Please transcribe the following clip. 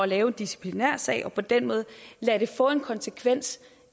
lave en disciplinærsag og på den måde lade det få en konsekvens